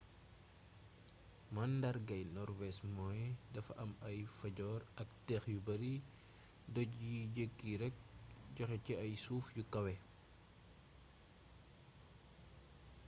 mandaargay norwees mooy dafa am fjords ak dex yu bari doj yiy jékki rekk joxé ci ay suuf yu kawé